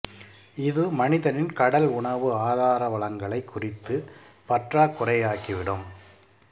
இது மனிதனின் கடல் உணவு ஆதாரவளங்களை குறைத்து பற்றாக்குறையாக்கி விடும்